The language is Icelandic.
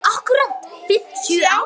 Akkúrat fimmtíu ár.